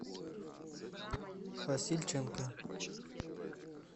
васильченко